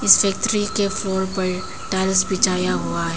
Factory के floor पर tiles बिछाया हुआ है।